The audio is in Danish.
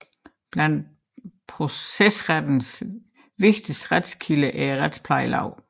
Blandt procesrettens vigtigste retskilder er retsplejeloven